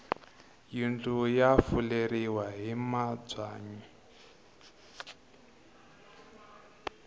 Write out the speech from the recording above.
yindlu ya fuleriwa hi mabyanyi